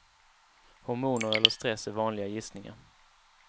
Hormoner eller stress är vanliga gissningar.